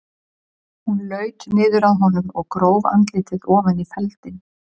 Hún laut niður að honum og gróf andlitið ofan í feldinn.